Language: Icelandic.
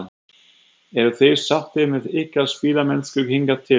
Eruð þið sáttir með ykkar spilamennsku hingað til?